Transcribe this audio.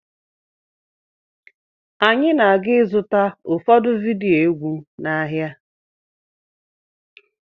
Anyị na-aga ịzụta ụfọdụ vidiyo egwu n'ahịa.